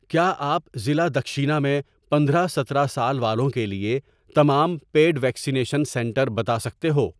کیا آپ ضلع دکشینہ میں پندرہ ستارہ سال والوں کے لیےتمام پِیڈ ویکسینیشن سنٹر بتا سکتے ہو؟